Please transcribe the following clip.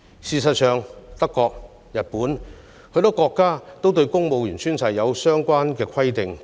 事實上，德國、日本及許多國家對公務員宣誓也有相關的規定。